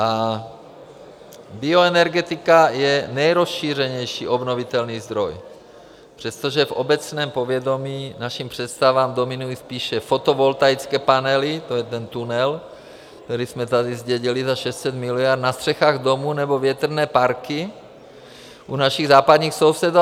A bioenergetika je nejrozšířenější obnovitelný zdroj, přestože v obecném povědomí našim představám dominují spíše fotovoltaické panely, to je ten tunel, který jsme tady zdědili za 600 miliard, na střechách domů, nebo větrné parky u našich západních sousedů.